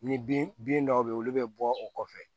Ni bin bin dɔw be yen olu bɛ bɔ o kɔfɛ